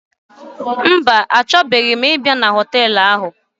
Mba, achọbeghi ịbịa na họtelụ ahụ.